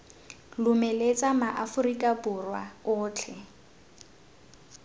lomeletsa ma aforika borwa otlhe